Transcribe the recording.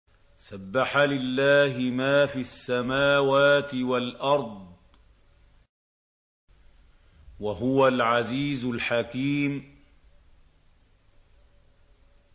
سَبَّحَ لِلَّهِ مَا فِي السَّمَاوَاتِ وَالْأَرْضِ ۖ وَهُوَ الْعَزِيزُ الْحَكِيمُ